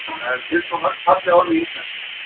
það eru til svo mörg falleg orð í íslenksu